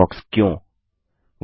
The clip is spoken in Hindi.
फ़ायरफ़ॉक्स क्यों160